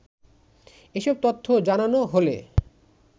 এসব তথ্য জানানো হলে